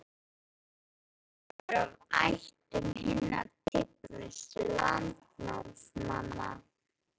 Goðarnir voru af ættum hinna tignustu landnámsmanna.